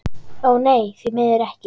Ó nei, því miður ekki.